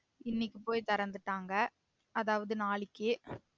இன்னைக்கு போயி திறந்துட்டாங்க அதாவது நாளைக்கி